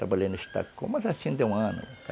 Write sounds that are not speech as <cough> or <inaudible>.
Trabalhei no, <unintelligible> mas assim deu um ano.